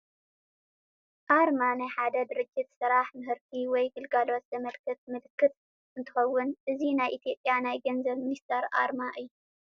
ኣርማ፡- ኣርማ ናይ ሓደ ድርጅት ስራሕ ምህርቲ ወይ ግልጋሎት ዘመልክት ምልክት እንትኸውን እዚ ናይ ኢ/ያ ናይ ገንዘብ ሚኒስቴር ኣርማ እዩ፡፡